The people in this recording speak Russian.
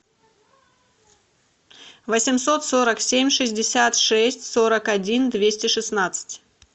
восемьсот сорок семь шестьдесят шесть сорок один двести шестнадцать